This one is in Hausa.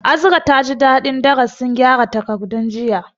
Azra taji dadin darasin kyara takardun jiya